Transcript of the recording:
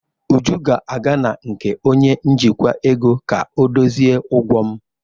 Uju ga-aga na nke onye njikwa ego ka ọdozie ụgwọ m.